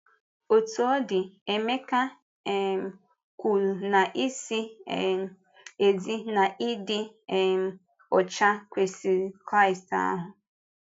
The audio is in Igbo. Òtù ọ dị, Emeka um kwùrù na ‘ìzì um ezi na ịdị um ọcha kwesị̀ Kraịst ahụ.’